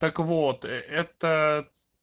так вот этот